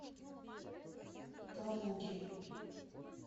калуге